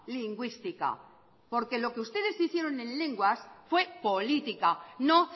lingüística porque lo que ustedes hicieron en lenguas fue política no